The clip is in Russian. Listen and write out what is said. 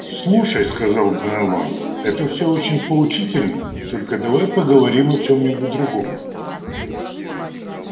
слушай сказал донован это всё очень поучительно только давай поговорим о чём-нибудь другом